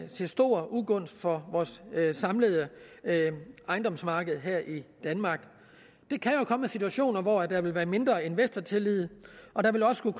til stor ugunst for vores samlede ejendomsmarked her i danmark der kan jo komme situationer hvor der vil være mindre investortillid og der vil også kunne